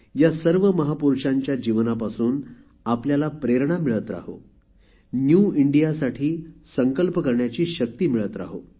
या सर्व महापुरुषांच्या जीवनापासून आपल्याला प्रेरणा मिळत राहो न्यू इंडियासाठी संकल्प करण्याची शक्ती मिळो